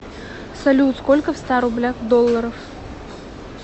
салют сколько в ста рублях долларов